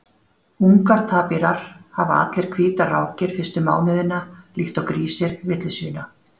ungar tapírar hafa allir hvítar rákir fyrstu mánuðina líkt og grísir villisvína